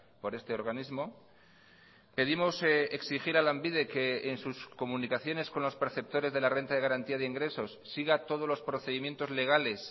por este organismo pedimos exigir a lanbide que en sus comunicaciones con los perceptores de la renta de garantía de ingresos siga todos los procedimientos legales